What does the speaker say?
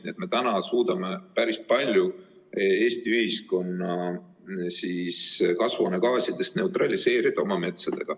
Nii et me suudame päris palju Eesti ühiskonna kasvuhoonegaasidest oma metsaga neutraliseerida.